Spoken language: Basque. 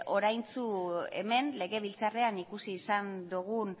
oraintxe hemen legebiltzarrean ikusi izan dugun